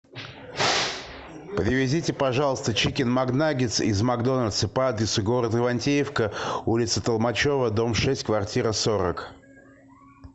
привезите пожалуйста чикен макнаггетс из макдональдса по адресу город ивантеевка улица толмачева дом шесть квартира сорок